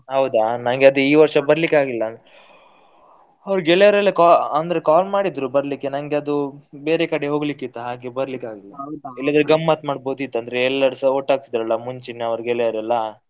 ಹೌದಾ ನನ್ಗೆ ಅದು ಈ ವರ್ಷ ಬರಲಿಕ್ಕೆ ಆಗ್ಲಿಲ್ಲ. ಗೆಳೆಯರೆಲ್ಲ ಅಂದ್ರೆ call ಮಾಡಿದ್ರು ಬರಲಿಕ್ಕೆ ನಂಗೆ ಅದು ಬೇರೆ ಕಡೆ ಹೋಗ್ಲಿಕ್ಕೆ ಇತ್ತು ಹಾಗೆ ಬರಲಿಕ್ಕೆ ಆಗಲಿಲ್ಲ ಇಲ್ಲದಿದ್ರೆ ಗಮ್ಮತ್ ಮಾಡ್ಬೋದಿತ್ತು ಅಂದ್ರೆ ಎಲ್ಲರೂಸ ಒಟ್ಟಾಗುತಿದ್ರು, ಮುಂಚಿನವರು ಗೆಳೆಯರೆಲ್ಲ.